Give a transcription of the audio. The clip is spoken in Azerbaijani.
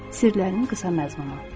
Sirlərinin qısa məzmunu.